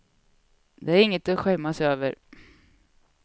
Det är inget att skämmas över.